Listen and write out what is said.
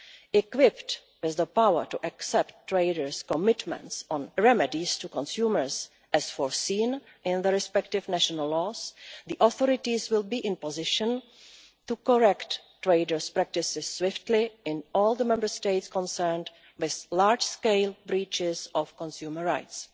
Equipped with the power to accept traders' commitments on remedies to consumers, as foreseen in the respective national laws, the authorities will be in a position to correct traders' practices swiftly in all the Member States concerned with large-scale breaches of consumer rights.